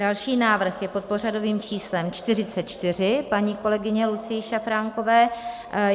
Další návrh je pod pořadovým číslem 44 paní kolegyně Lucie Šafránkové.